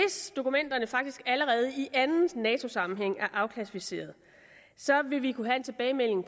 dokumenterne faktisk allerede i anden nato sammenhæng er afklassificerede vil vi kunne have en tilbagemelding